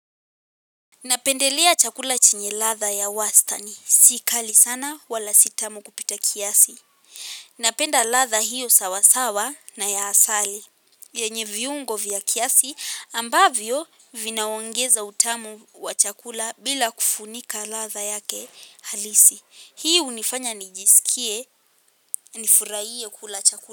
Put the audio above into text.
Napendelea chakula chenye ladha ya wastani. Si kali sana wala si tamu kupita kiasi. Napenda ladha hiyo sawasawa na ya asali. Yenye viungo vya kiasi ambavyo vinaongeza utamu wa chakula bila kufunika ladha yake halisi. Hii hunifanya nijisikie ni furahie kula chakula.